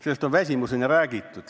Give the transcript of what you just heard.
Sellest on väsimuseni räägitud.